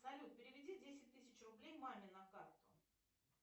салют переведи десять тысяч рублей маме на карту